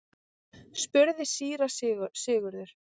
spurði síra Sigurður.